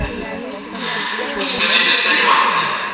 у тебя найдется анимация